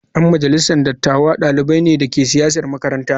Yan majalisar dattawa dalibai ne da ke siyasar makaranta.